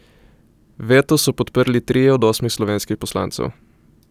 Veto so podprli trije od osmih slovenskih poslancev.